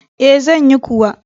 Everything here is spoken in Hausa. E, zan yi kuwa.